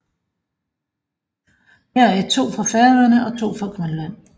Heraf er to fra Færøerne og to fra Grønland